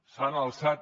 s’han alçat